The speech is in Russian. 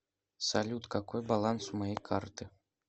салют какой баланс у моей карты